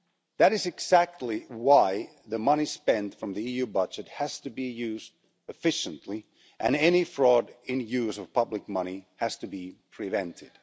That is exactly why the money spent from the EU budget has to be used efficiently and any fraud in the use of public money has to be prevented.